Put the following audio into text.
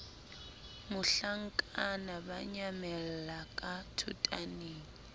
mohlankana ba nyamella ka thotaneng